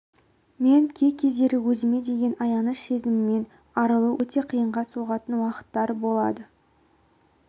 мен кей-кездері өзіме деген аяныш сезімінен арылу өте қиынға соғатын уақыттар болады